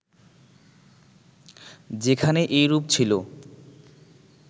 যেখানে এইরূপ ছিল